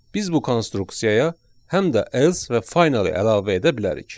Biz bu konstruksiyaya həm də else və finally əlavə edə bilərik.